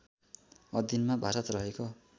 अधिनमा भारत रहेको